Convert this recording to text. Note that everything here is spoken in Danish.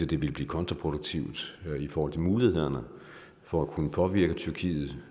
det ville blive kontraproduktivt i forhold til mulighederne for at kunne påvirke tyrkiet